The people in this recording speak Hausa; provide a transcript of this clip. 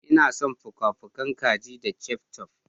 Ina son fuka-fukan kaji da ketchup.